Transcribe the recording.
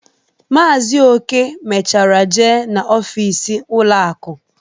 Maazi Oke mechara jee n'ọfịs ụlọ akụ